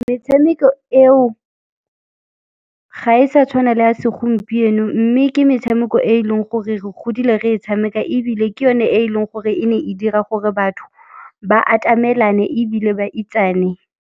Metshameko eo, ga e sa tshwana le ya segompieno mme ke metshameko e e leng gore re godile re e tshameka ebile ke yone e leng gore e ne e dira gore batho ba atamelane, ebile ba itsane.